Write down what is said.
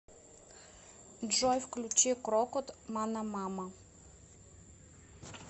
джой включи крокот манамама